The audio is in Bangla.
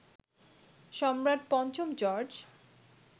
সম্রাট পঞ্চম জর্জ